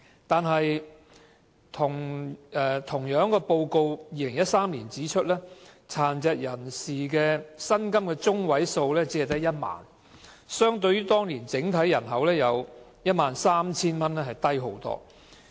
不過 ，2013 年報告亦指出，殘疾人士的薪金中位數只有1萬元，遠較當年整體人口的薪金中位數 13,000 元為低。